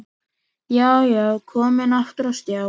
Já, já, komin aftur á stjá!